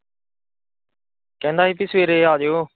ਕਹਿੰਦਾ ਹੀ ਭੀ ਸਵੇਰੇ ਆਜਿਓ।